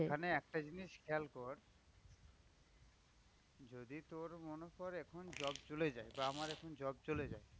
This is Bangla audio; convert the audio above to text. এখানে একটা জিনিস খেয়াল কর যদি তোর মনে কর এখন job চলে যায়। বা আমার এখন job যায়।